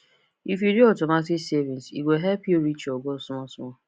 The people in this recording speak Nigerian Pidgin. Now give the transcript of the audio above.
if you do automatic savings e go help you reach your goal small small